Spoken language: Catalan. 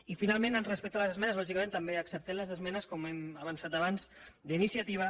i finalment respecte a les esmenes lògicament també acceptem les esmenes com hem avançat abans d’iniciativa